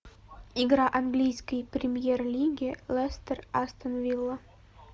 игра английской премьер лиги лестер астон вилла